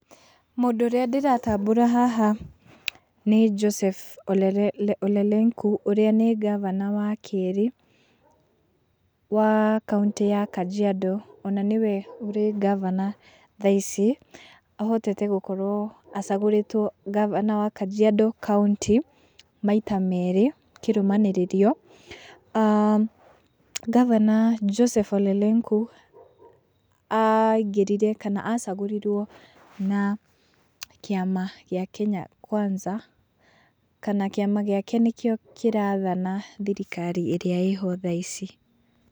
Mũndũ ũrĩa ndĩratambũra haha nĩ Joseph Olelenku, ũrĩa nĩ ngabana wa kerĩ wa kauntĩ ya Kajiado ona nĩwe ũrĩ ngabana thaa ici. Ahotete gũkorwo acagũrĩtwo ngabana wa Kajiado kauntĩ maita merĩ kĩrũmanĩrĩrio. Ngabana Joseph Olelenku aingĩrire kana acagũrirwo na kĩama gĩa Kenya Kwanza kana kĩama gĩake nĩkĩo kĩrathana thirikari ĩrĩa ĩho thaa ici.